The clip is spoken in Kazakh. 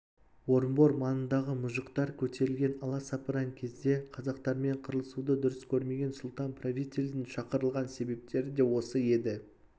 орынбор маңындағы мұжықтар көтерілген аласапыран кезде қазақтармен қырылысуды дұрыс көрмеген сұлтан-правительдің шақырылған себептері де осы еді